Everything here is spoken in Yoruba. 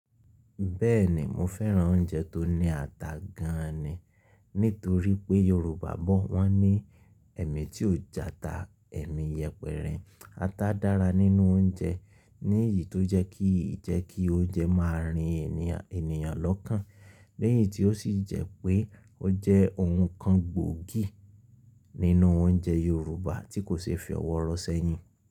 Bẹ́ẹ̀ni mo fẹ́ran oúnjẹ tó ní ata gan an ni. Nítorí pé Yorùbá bọ̀ wọ́n ní ẹ̀mí tí ó je ata ẹ̀mí yẹpẹrẹ. Ata dára nínú oúnjẹ ní ìyí tó jẹ́ kí ì jẹ́ kí oúnjẹ máa rín ènìyàn, ènìyàn lọ́kàn. Lẹ́yìn tí ó sì jẹ́ pé ó jẹ́ ohun kan gbòógì nínú oúnjẹ Yorùbá tí kò ṣe é fi ọwọ́ rọ sẹ́yìn.